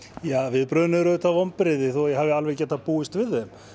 viðbrigðin eru auðvitað vonbrigði þó ég hafi alveg getað búist við þeim